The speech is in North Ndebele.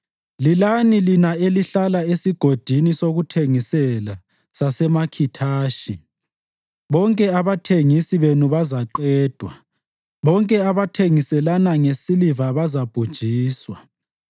Lilani lina elihlala esigodini sokuthengisela saseMakhithashi, bonke abathengisi benu bazaqedwa, bonke abathengiselana ngesiliva bazabhujiswa.